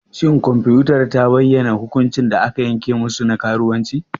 Shin kwamfutar ta bayyana hukuncin da aka yanke musu na karuwanci?